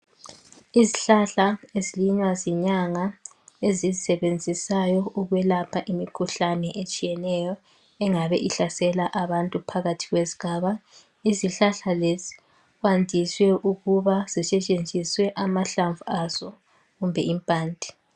Izihlahla ezilinywa ezinyanga ezizisebenzisayo ukwelapha imikhuhlane etshiyeneyo engabe ihlasela abantu phakathi kwesigaba. Izihlahla lezi kwandiswe ukuba zisetshenziswe amahlamvu azo kumbe impande.